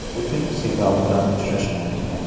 Putin Sigal bilan uchrashmaydi.